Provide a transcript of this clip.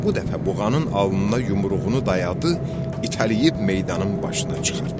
Bu dəfə buğanın alnına yumruğunu dayadı, itələyib meydanın başına çıxartdı.